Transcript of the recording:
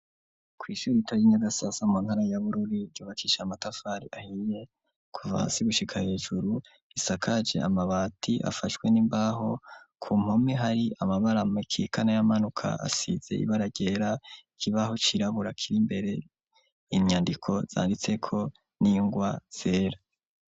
Kwishure ritoya i nyagasasa mu ntara ya bururi ryubakishe amatafari ahiye, kuva hasi gushika hejuru isakaje amabati afashwe nimbaho kumpome hari amabara akikama nayamanuka asize ibara ryera, ikibaho cirabura kiri imbere inyandiko zanditseko ningwa zera.